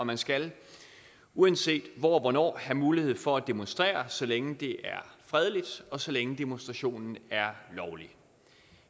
man skal uanset hvor og hvornår have mulighed for at demonstrere så længe det er fredeligt og så længe demonstrationen er lovlig